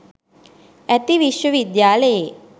ඇති විශ්ව විද්‍යාලයේ